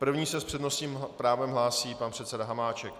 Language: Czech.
První se s přednostním právem hlásí pan předseda Hamáček.